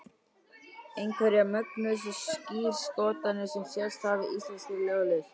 einhverjar mögnuðustu skírskotanir sem sést hafa í íslenskri ljóðlist